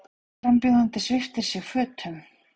Frambjóðandi sviptir sig fötum